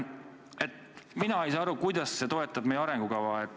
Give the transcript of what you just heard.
Mina ei saa aru, kuidas see toetab arengukava.